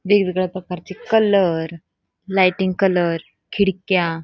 वेगवेगळ्या प्रकारचे colour lighting colour खिडक्या --